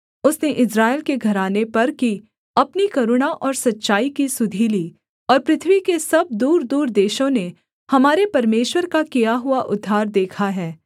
उसने इस्राएल के घराने पर की अपनी करुणा और सच्चाई की सुधि ली और पृथ्वी के सब दूरदूर देशों ने हमारे परमेश्वर का किया हुआ उद्धार देखा है